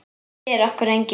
Það sér okkur enginn.